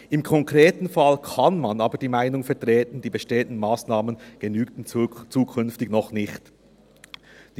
Im konkreten Fall kann man aber die Meinung vertreten, die bestehenden Massnahmen würden zukünftig noch nicht genügen.